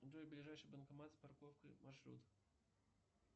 джой ближайший банкомат с парковкой маршрут